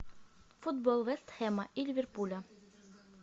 футбол вест хэма и ливерпуля